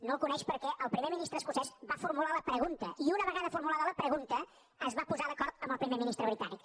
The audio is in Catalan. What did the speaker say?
no el coneix perquè el primer ministre escocès va formular la pregunta i una vegada formulada la pregunta es va posar d’acord amb el primer ministre britànic